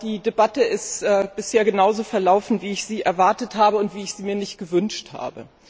Die Debatte ist bisher genauso verlaufen wie ich es erwartet habe, wie ich sie mir aber nicht gewünscht habe.